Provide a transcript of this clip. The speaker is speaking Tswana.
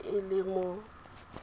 ka tswe e le mo